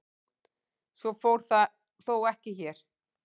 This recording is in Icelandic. Svo fór þó ekki hér.